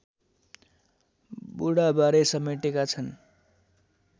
बुढाबारे समेटेका छन्